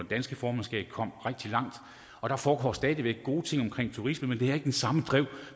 danske formandskab kom rigtig langt og der foregår stadig væk gode ting omkring turisme men det har ikke det samme drive